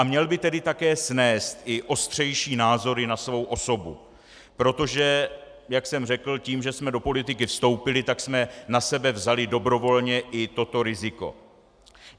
A měl by tedy také snést i ostřejší názory na svou osobu, protože, jak jsem řekl, tím, že jsme do politiky vstoupili, tak jsme na sebe vzali dobrovolně i toto riziko.